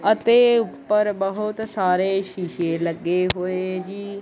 ਅਤੇ ਉੱਪਰ ਬਹੁਤ ਸਾਰੇ ਸ਼ੀਸ਼ੇ ਲੱਗੇ ਹੋਏ ਜੀ।